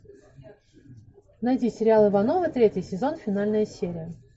найди сериал ивановы третий сезон финальная серия